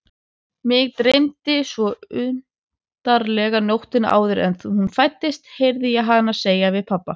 Mig dreymdi svo undarlega nóttina áður en hún fæddist, heyri ég hana segja við pabba.